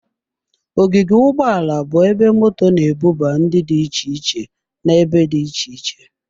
Ogige ụgbọ ala bụ ebe moto na-ebuba ndị dị iche iche n'ebe dị iche iche.